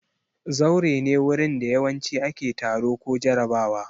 Zaure ne wurin da yawanci ake taro ko jarabawa.